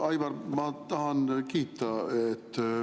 Aivar, ma tahan sind kiita.